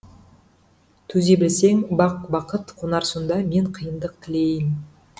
төзе білсең бақ бақыт қонар сонда мен қиындық тілейін